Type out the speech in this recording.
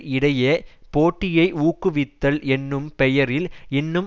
இடையே போட்டியை ஊக்குவித்தல் என்னும் பெயரில் இன்னும்